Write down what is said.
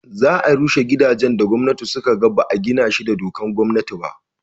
za a rushe gidajen da gwamnati suka ga ba a gina shi da dokan gwamnati ba